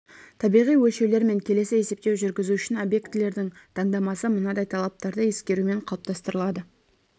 табиғи өлшеулер мен келесі есептеу жүргізу үшін объектілердің таңдамасы мынадай талаптарды ескерумен қалыптастырылады